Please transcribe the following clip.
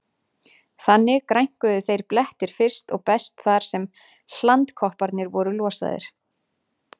Þannig grænkuðu þeir blettir fyrst og best þar sem hlandkopparnir voru losaðir.